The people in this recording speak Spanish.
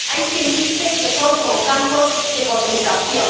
Hay quien dice que son como campos de concentración.